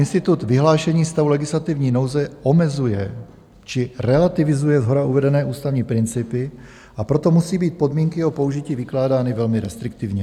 Institut vyhlášení stavu legislativní nouze omezuje či relativizuje shora uvedené ústavní principy, a proto musí být podmínky o použití vykládány velmi restriktivně.